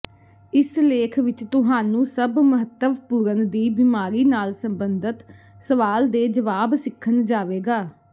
ਇਸ ਲੇਖ ਵਿੱਚ ਤੁਹਾਨੂੰ ਸਭ ਮਹੱਤਵਪੂਰਨ ਦੀ ਬਿਮਾਰੀ ਨਾਲ ਸਬੰਧਤ ਸਵਾਲ ਦੇ ਜਵਾਬ ਸਿੱਖਣ ਜਾਵੇਗਾ